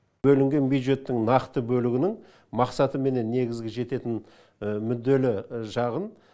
бөлінген бюджеттің нақты бөлігінің мақсаты менен негізгі жететін мүдделі жағын